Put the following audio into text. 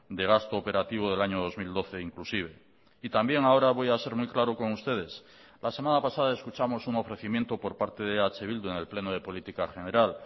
de gasto operativo del año dos mil doce inclusive y también ahora voy a ser muy claro con ustedes la semana pasada escuchamos un ofrecimiento por parte de eh bildu en el pleno de política general